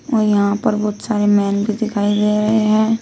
और यहां पर बहुत सारे मैन भी दिखाई दे रहे हैं।